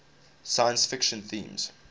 science fiction themes